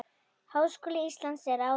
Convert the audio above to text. Háskóla Íslands en áður.